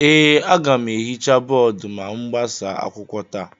Ee, aga m ehicha bọọdụ ma m gbasaa akwụkwọ taa